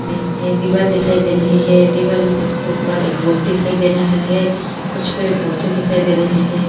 मैं यह दीवाल दिखाई दे रही हैं दीवाल दिख के ऊपर एक बोर्ड दिखाई दे रहा हैं कुछ पेड़ पौधे दिखाई दे रहे हैं।